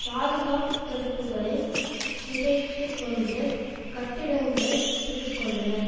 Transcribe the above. பாதுகாப்பு தடுப்புக்களை சிதைத்துக்கொண்டு கட்டிடங்களை பிடித்துக்கொண்டனர்